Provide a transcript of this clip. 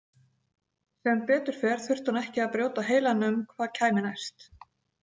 Sem betur fer þurfti hún ekki að brjóta heilann um hvað kæmi næst.